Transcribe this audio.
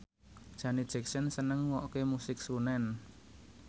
Janet Jackson seneng ngrungokne musik srunen